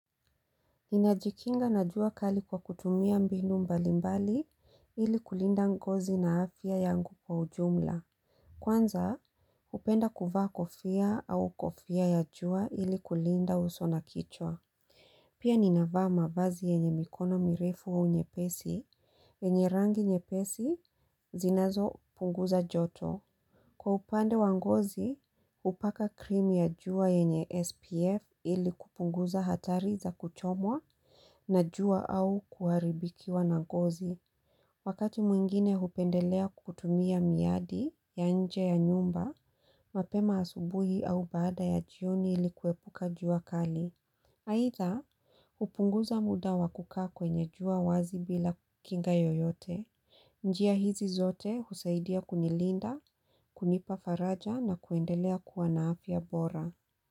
Ninajikinga na jua kali kwa kutumia mbinu mbali mbali ili kulinda ngozi na afya yangu kwa ujumla. Kwanza, hupenda kuvaa kofia au kofia ya jua ili kulinda uso na kichwa. Pia ninavaa mavazi yenye mikono mirefu au nyepesi, yenye rangi nyepesi zinazopunguza joto. Kwa upande wa ngozi, hupaka krimu ya jua yenye SPF ili kupunguza hatari za kuchomwa na jua au kuharibikiwa na ngozi. Wakati mwingine hupendelea kukutumia miadi ya nje ya nyumba, mapema asubuhi au baada ya jioni ili kuepuka jua kali. Haitha, upunguza muda wakukaa kwenye jua wazi bila kinga yoyote. Njia hizi zote husaidia kunilinda, kunipafaraja na kuendelea kuwan afya bora.